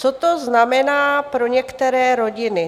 Co to znamená pro některé rodiny?